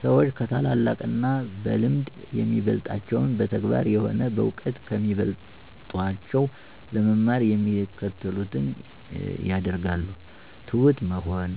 ሰዎች ከታላላቅ እና በልምድ የሚበልጣቸውን በተግባር ሆነ በእውቀት ከሚበልጦቸው ለመማር የሚከተሉትን ያደርጋሉ፦ ትሁት መሆን